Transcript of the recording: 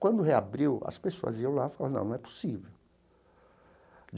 Quando reabriu, as pessoas iam lá e falaram não, não é possível.